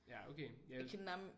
Ja okay ja